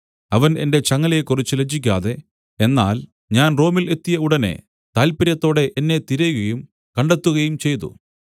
അവൻ എന്റെ ചങ്ങലയെക്കുറിച്ച് ലജ്ജിക്കാതെ എന്നാൽ ഞാൻ റോമിൽ എത്തിയ ഉടനെ താല്പര്യത്തോടെ എന്നെ തിരയുകയും കണ്ടെത്തുകയും ചെയ്തു